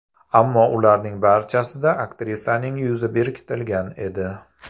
Ammo ularning barchasida aktrisaning yuzi berkitilgan edi.